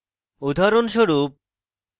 উদাহরণস্বরূপ